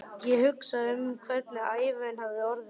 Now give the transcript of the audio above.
Ég hugsa um hvernig ævin hefði orðið.